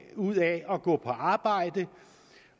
ud af at gå på arbejde